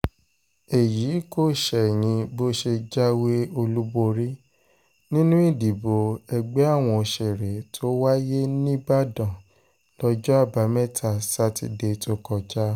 èyí kò ṣẹ̀yìn bó ṣe jáwé olúborí nínú ìdìbò ẹgbẹ́ àwọn òṣèré tó wáyé níìbàdàn lọ́jọ́ àbámẹ́ta sátidé tó kọjá